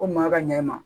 Ko maa ka ɲɛ i ma